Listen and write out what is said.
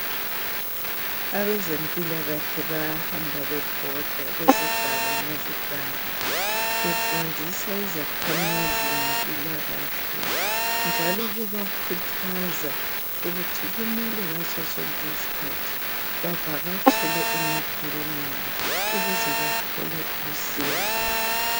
Abezempilakahle bayahamba bebhoda kuzigaba ngezigaba befundisa izakhamizi ngempilakahle njalo bebakhuthaza ukuthi kumele ngasosonke isikhathi bavakatshele emakilinika ukuze bathole usizo.